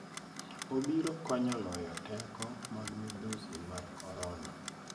Obiro konyo loyo teko mag midhusi mar Corona